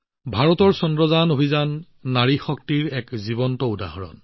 ভাৰতৰ মিছন চন্দ্ৰযানো নাৰী শক্তিৰ সজীৱ উদাহৰণ